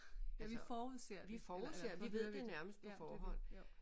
Ja vi forudser det eller eller hører det ja jo